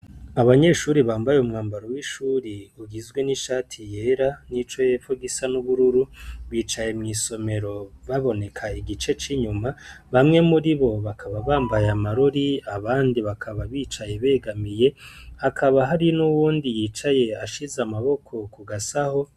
Abanyeshuri bambaye umwambaro w'ishuri ugizwe n'ishati yera n'ico yepfo gisa n'ubururu, bicaye mw'isomero baboneka igice c'inyuma, bamwe muri bo bakaba bambaye amarori abandi bakaba bicaye begamiye hakaba hari n'uwundi yicaye ashize amaboko kugasaho.